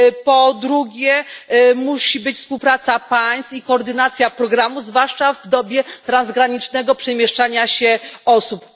Po drugie, musi być współpraca państw i koordynacja programów, zwłaszcza w dobie transgranicznego przemieszczania się osób.